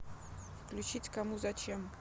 включить кому зачем